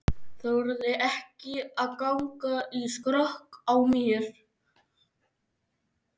Þorði ekki að ganga í skrokk á mér.